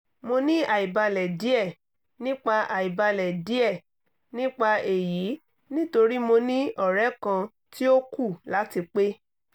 mo ni àìbalẹ̀ díẹ̀ nípa àìbalẹ̀ díẹ̀ nípa èyí nítorí mo ní ọ̀rẹ́ kan tí ó kù láti pé